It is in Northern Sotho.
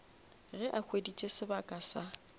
ge a hweditše sebaka sa